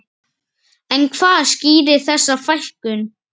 En hvað skýrir þessa fækkun?